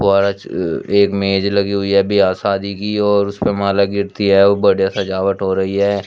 एक मेज लगी हुई है बिहा शादी की और उसपे माला गिरती है ओ बढ़िया सजावट हो रही है।